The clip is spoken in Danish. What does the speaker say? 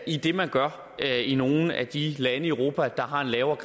i det man gør i nogle af de lande i europa der har en lavere